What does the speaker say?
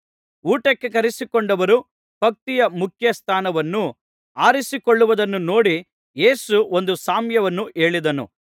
ಊಟಕ್ಕೆ ಕರಿಸಿಕೊಂಡವರು ಪಂಕ್ತಿಯ ಮುಖ್ಯ ಸ್ಥಾನವನ್ನು ಆರಿಸಿಕೊಳ್ಳುವುದನ್ನು ನೋಡಿ ಯೇಸು ಒಂದು ಸಾಮ್ಯವನ್ನು ಹೇಳಿದನು